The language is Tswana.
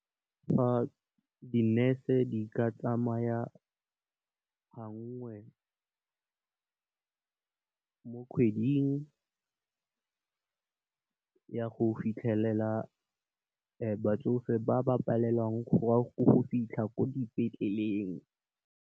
Fa di nurse di ka tsamaya gangwe mo kgweding ya go fitlhelela batsofe ba ba palelwang go wa go fitlha ko dipetleleng.